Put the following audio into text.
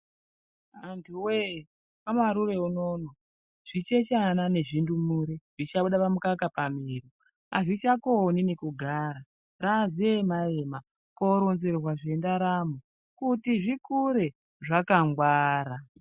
Antuwe kwaMarure unono zvichechana nezvindumure zvichabuda pamukaka pamiro azvichakoni nekugara raziema ema koronzerwa zvendaramo kuti zvikure zvakangwara.